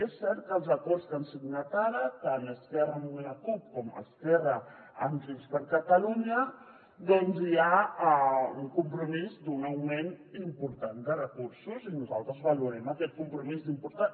i és cert que als acords que han signat ara tant esquerra amb la cup com esquerra amb junts per catalunya doncs hi ha un compromís d’un augment important de recursos i nosaltres valorem aquest compromís com a important